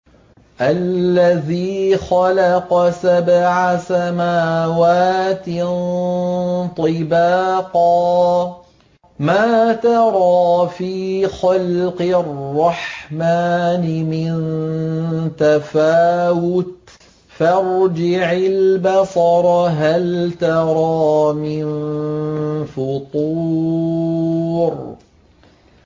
الَّذِي خَلَقَ سَبْعَ سَمَاوَاتٍ طِبَاقًا ۖ مَّا تَرَىٰ فِي خَلْقِ الرَّحْمَٰنِ مِن تَفَاوُتٍ ۖ فَارْجِعِ الْبَصَرَ هَلْ تَرَىٰ مِن فُطُورٍ